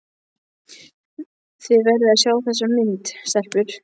Þið verðið að sjá þessa mynd, stelpur!